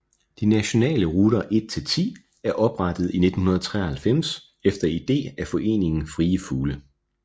De nationale ruter 1 til 10 er oprettet i 1993 efter ide af Foreningen Frie Fugle